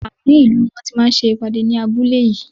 Àárín ìlú ni wọ́n ti máa ń ṣe ìpàdé ní abúlé yìí.